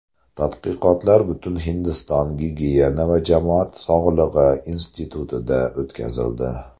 Tadqiqotlar Butunhindiston gigiyena va jamoat sog‘lig‘i institutida o‘tkazildi.